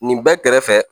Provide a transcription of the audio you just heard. Nin bɛɛ kɛrɛfɛ